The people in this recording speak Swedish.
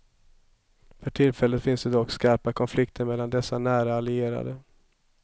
För tillfället finns det dock skarpa konflikter mellan dessa nära allierade.